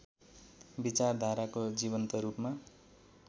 विचारधाराको जीवन्त रूपमा